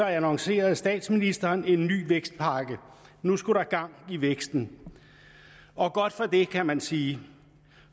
annoncerede statsministeren en ny vækstpakke nu skulle der gang i væksten og godt for det kan man sige